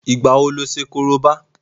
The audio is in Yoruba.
Ìgbà wo lo ṣe Korobá?